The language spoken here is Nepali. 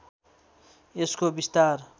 यसको विस्तार